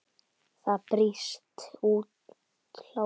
Það brýst út hlátur.